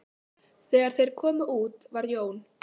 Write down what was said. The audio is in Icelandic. Þegar þeir komu út var Jón